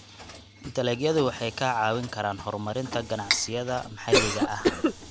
Dalagyadu waxay kaa caawin karaan horumarinta ganacsiyada maxalliga ah.